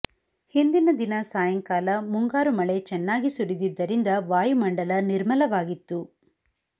ಹಿಂದಿನ ದಿನ ಸಾಯಂಕಾಲ ಮುಂಗಾರು ಮಳೆ ಚೆನ್ನಾಗಿ ಸುರಿದಿದ್ದರಿಂದ ವಾಯುಮಂಡಲ ನಿರ್ಮಲವಾಗಿತ್ತು